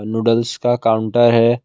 Noodles का counter है।